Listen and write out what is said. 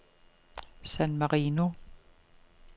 San Marino